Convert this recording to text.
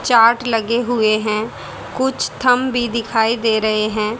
Chart लगे हुए हैं कुछ थम्ब भी दिखाई दे रहे हैं।